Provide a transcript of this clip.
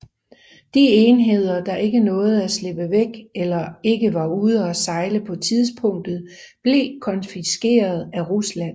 De enheder der ikke nåede at slippe væk eller ikke var ude og sejle på tidspunktet blev konfiskeret af Rusland